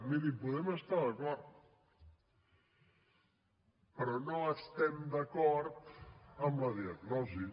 miri hi podem estar d’acord però no estem d’acord en la diagnosi